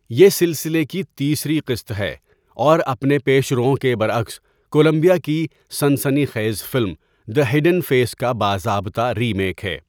یہ سلسلے کی تیسری قسط ہے اور اپنے پیشروؤں کے برعکس، کولمبیا کی سنسنی خیز فلم دی ہیڈن فیس کا باضابطہ ری میک ہے۔